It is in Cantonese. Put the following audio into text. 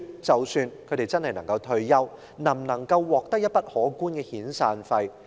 即使他們真的能退休，能否獲取一筆可觀的遣散費？